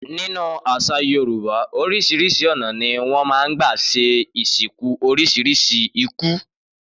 Nínú àṣà Yorùbá oríṣiríṣi ọ̀nà ni wọ́n máa ń gbà ṣe ìsìnkú oríṣiríṣi ikú.